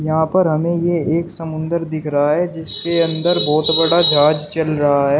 यहां पर हमें ये एक समुंदर दिख रहा है जिसके अंदर बहुत बड़ा जहाज चल रहा है।